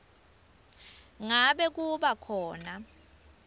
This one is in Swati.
ngabe kuba khona